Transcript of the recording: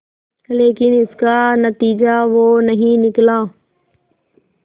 लेकिन इसका नतीजा वो नहीं निकला